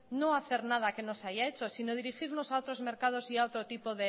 no hacer nada que no se haya hecho sino dirigirnos a otros mercados y a otro tipo